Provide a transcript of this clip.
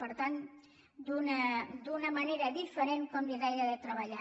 per tant d’una manera diferent com li deia de treballar